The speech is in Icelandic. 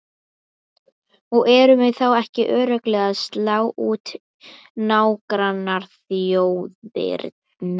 Og erum við þá ekki örugglega að slá út nágrannaþjóðirnar?